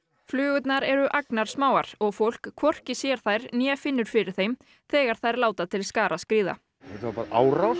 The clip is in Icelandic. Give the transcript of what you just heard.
flugurnar eru agnarsmáar og fólk hvorki sér þær né finnur fyrir þeim þegar þær láta til skarar skríða þetta var bara árás